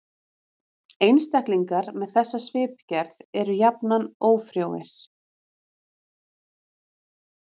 Einstaklingar með þessa svipgerð eru jafnan ófrjóir.